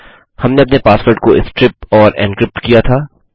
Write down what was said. हमने अपने पासवर्ड को स्ट्रिप और एन्क्रिप्ट किया था